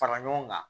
Fara ɲɔgɔn kan